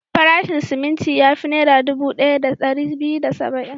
Farashin siminti ya fi Naira dubu ɗaya da ɗari biyu da saba'in.